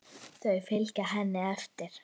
Þau fylgja henni eftir.